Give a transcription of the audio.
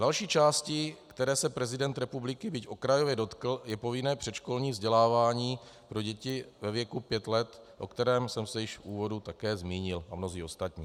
Další částí, které se prezident republiky, byť okrajově, dotkl, je povinné předškolní vzdělávání pro děti ve věku pět let, o kterém jsem se již v úvodu také zmínil, a mnozí ostatní.